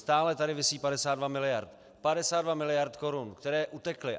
Stále tady visí 52 miliard, 52 miliard korun, které utekly.